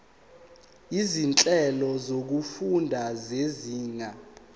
izinhlelo zokufunda zezinga